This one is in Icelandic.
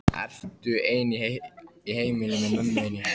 Ertu ein í heimili með mömmu þinni?